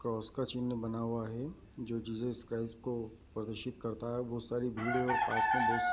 cross का चिन्ह बना हुआ है जो जीसस क्राइस्ट को प्रदर्शित करता है बहुत सारी भीड़ हैं और पास में बहुत --